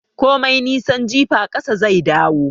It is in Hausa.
Komai nisan jifa, ƙasa zai dawo.